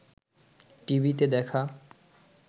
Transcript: টিভিতে দেখা